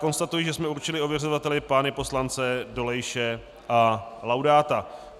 Konstatuji, že jsme určili ověřovateli pány poslance Dolejše a Laudáta.